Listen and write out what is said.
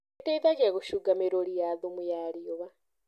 ĩteithagia gũcunga mĩruri ya thumu ya riũa.